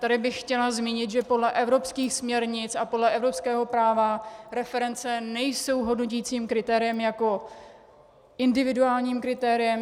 Tady bych chtěla zmínit, že podle evropských směrnic a podle evropského práva reference nejsou hodnoticím kritériem jako individuálním kritériem.